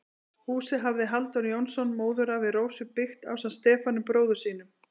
Húsið hafði Halldór Jónsson, móðurafi Rósu, byggt ásamt Stefáni, bróður sínum.